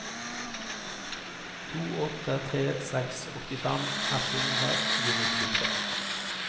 to åtte tre seks åttifem ett hundre og nittitre